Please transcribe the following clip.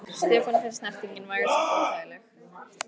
Stefáni fannst snertingin vægast sagt óþægileg.